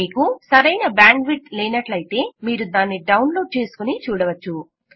మీకు సరైన బ్యాండ్విడ్త్లేనట్లయితే మీరు దానిని డౌన్లోడ్ చేసుకొని చూడవచ్చు